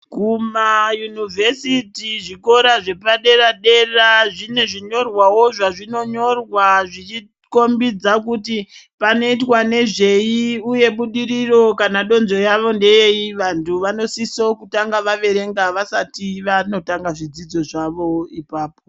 Kumayunivhesiti-zvikora zvepadera dera zvine zvinyorwawo zvazvinonyorwa zvichikombidza kuti panoitwa nezvei, uye budiriro kana donzvo ravo nderei. Vantu vanosisa kutanga vaverenga vasati vanotanga zvidzidzo zvavo ipapo.